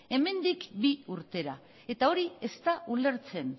hemendik bi urtera eta hori ez da ulertzen